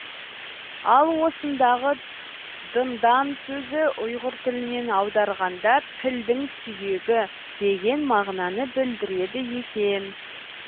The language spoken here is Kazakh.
ал осындағы дындан сөзі ұйғыр тілінен аударғанда пілдің сүйегі деген мағынаны білдіреді екен